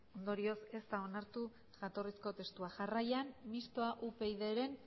ondorioz ez da onartu jatorrizko testua jarraian mistoa upydren